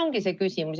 Selles ongi küsimus.